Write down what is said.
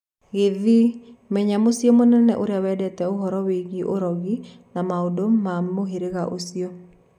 Gĩthĩĩ:Menya Mũcĩĩ mũnene ũrĩa wendete ũhoro wĩgie ũrogĩ na maũndũ ma mũhĩrĩga ũcio.